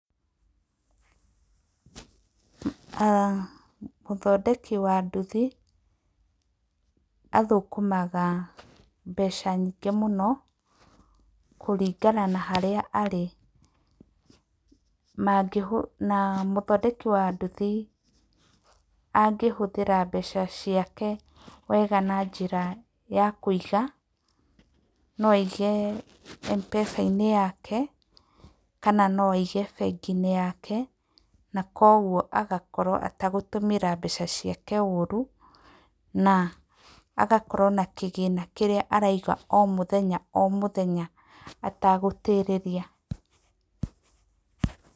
A, mũthondeki wa nduthi, athukũmaga mbeca nyingĩ mũno, kũringana na harĩa arĩ. Na mũthondeki wa nduthi, angĩhũthĩra mbeca ciake wega na njĩra ya kũiga. No aige M-pesa-inĩ yake, kana no aige bengi-inĩ yake, na koguo agakorwo etagũtũmĩra mbeca ciake ũru, na agakorwo na kĩgĩna kĩrĩa araiga omũthenya omũthenya etagũtĩrĩria.